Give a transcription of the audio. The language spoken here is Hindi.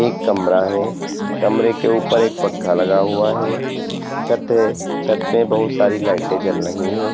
एक कमरा है कमरे के ऊपर एक पंख लगा हुआ है छत है छत पे बहुत सारी लाइटे जल रही है।